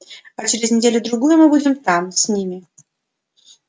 а через неделю-другую мы будем там с ними